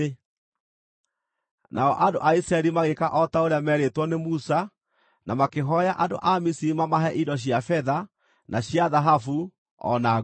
Nao andũ a Isiraeli magĩĩka o ta ũrĩa meerĩĩtwo nĩ Musa na makĩhooya andũ a Misiri mamahe indo cia betha na cia thahabu, o na nguo.